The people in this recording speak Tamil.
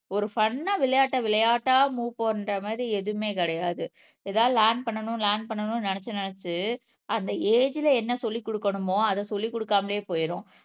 ஒரு ஃபன்னா ஆஹ் விளையாட்டை விளையாட்டா மூவ் பண்ற மாதிரி எதுவுமே கிடையாது ஏதாவது லேர்ன் பண்ணணும் லேர்ன் பண்ணணும்னு நினைச்சு நினைச்சு அந்த ஏஜ்ல என்ன சொல்லிக் கொடுக்கணுமோ அத சொல்லிக் கொடுக்காமலே போயிரும்.